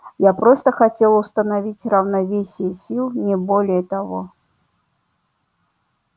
я просто хотел установить равновесие сил не более того